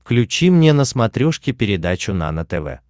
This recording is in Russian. включи мне на смотрешке передачу нано тв